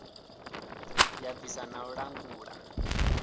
ya bvisa na u langula